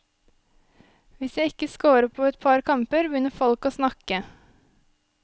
Hvis jeg ikke scorer på et par kamper, begynner folk å snakke.